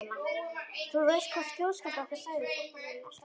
Þú veist hvað þjóðskáldið okkar sagði, flóttamaðurinn er alltaf einmana.